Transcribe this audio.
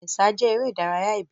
Ẹ̀sà jẹ́ eré ìdárayá ìbílẹ̀.